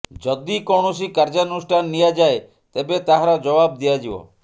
ଯଦି କୌଣସି କାର୍ଯ୍ୟାନୁଷ୍ଠାନ ନିଆଯାଏ ତେବେ ତାହାର ଜବାବ ଦିଆଯିବ